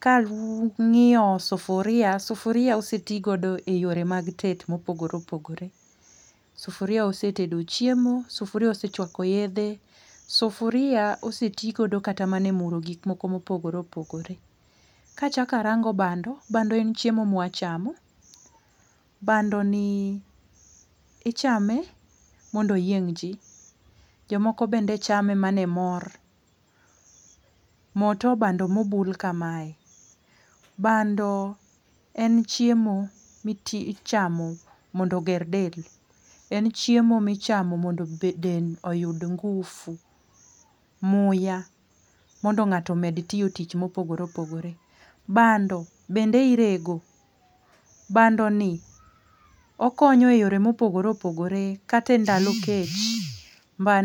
Ka ang'iyo sufuria, sufuria osetigodo eyore mag tedo mopogore opogore. Sufuria osetedo chiemo, sufuria osechuako yedhe, sufuria osetigodo kata mana e muro gik moko mopogore opogore. Ka achako arango bando, bando en chiemo ma ichamo, ichame mondo oyieng' ji. Jomoko bende chame mana e mor. Mo to bando mobul kamae, bando en chiemo michamo mondo oger del, en chiemo michamo mondo del oyud ngufu muya mondo ng'ato omed tiyo tich mopogore opogore. Bando bende irego. Bando ni okonyo e yore mopogore opogore kata e ndalo kech bando